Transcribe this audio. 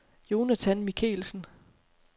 Jonathan Michaelsen